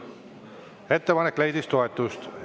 Ettepanek leidis toetust.